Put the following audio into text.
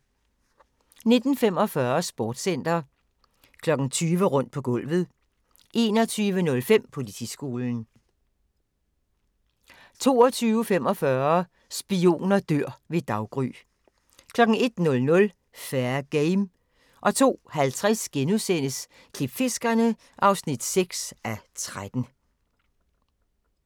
19:45: Sportscenter 20:00: Rundt på gulvet 21:05: Politiskolen 22:45: Spioner dør ved daggry 01:00: Fair Game 02:50: Klipfiskerne (6:13)*